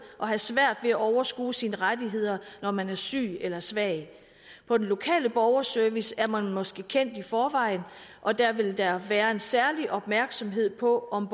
og have svært ved at overskue sine rettigheder når man er syg eller svag på den lokale borgerservice er man måske kendt i forvejen og der vil der være en særlig opmærksomhed på om